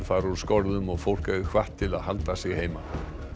fara úr skorðum og fólk er hvatt til að halda sig heima